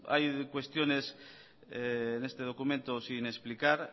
hay cuestiones en este documento sin explicar